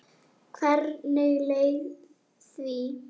Hvernig leið því?